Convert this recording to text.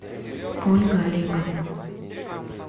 ольга олеговна